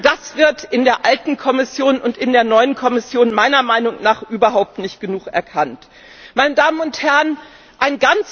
Das ist in der alten Kommission und in der neuen Kommission meiner Meinung nach überhaupt nicht genug erkannt worden.